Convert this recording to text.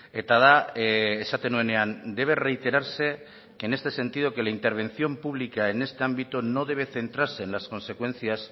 eta da esaten nuenean debe reiterarse que en este sentido que la intervención pública en este ámbito no debe centrarse en las consecuencias